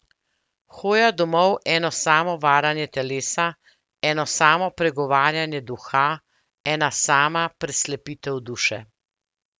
Hoja domov eno samo varanje telesa, eno samo pregovarjanje duha, ena sama preslepitev duše!